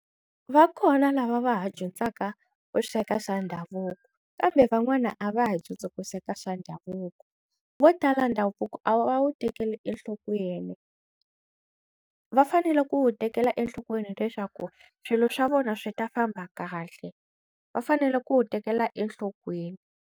Va kona lava va ha dyondzaka ku sweka swa ndhavuko kambe van'wana a va ha dyondzi ku sweka swa ndhavuko, vo tala ndhavuko a va wu tekeli enhlokweni va fanele ku tekela enhlokweni leswaku swilo swa vona swi ta famba kahle va fanele ku wu tekela enhlokweni.